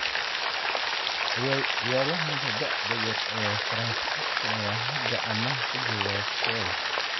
Ciyaaryahanka da'da yar ee Faransiiska ayaa hadda amaah ku jooga Schalke.